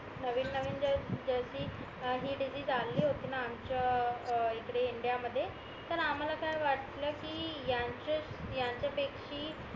नवीन नवीन हि डीसिस अली होती ना मासाच्या इकडे इंडिया मध्ये तर आम्हाला काय वाटलं कि ह्यांच्या पेक्षी